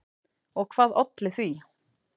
Og hvað olli því?